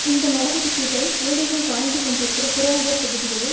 இந்த நடவடிக்கைகள் ஏழைகள் வாழ்ந்து கொண்டிருக்கிற புறநகர் பகுதிகளில்